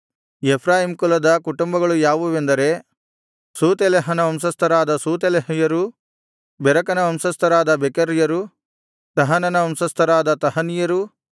Ephraim ಕುಲದ ಕುಟುಂಬಗಳು ಯಾವುವೆಂದರೆ ಶೂತೆಲಹನ ವಂಶಸ್ಥರಾದ ಶೂತೆಲಹ್ಯರು ಬೆಕೆರನ ವಂಶಸ್ಥರಾದ ಬೆಕೆರ್ಯರು ತಹನನ ವಂಶಸ್ಥರಾದ ತಹನಿಯರು